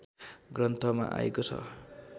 ग्रन्थमा आएको छ